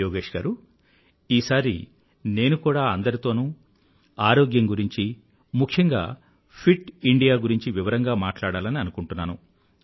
యోగేష్ గారూ ఈసారి నేను కూడా అందరితోనూ ఆరోగ్యం గురించి ముఖ్యంగా ఫిట్ ఇండియా గురించి వివరంగా మాట్లాడాలని అనుకుంటున్నాను